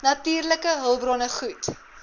natuurlike hulpbronne goed